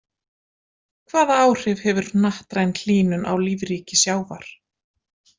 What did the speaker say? Hvaða áhrif hefur hnattræn hlýnun á lífríki sjávar?